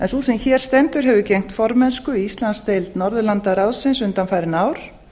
sú sem hér stendur hefur gegnt formennslu í íslandsdeild norðurlandaráðsins undanfarin ár